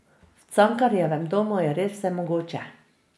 V Cankarjevem domu je res vse mogoče.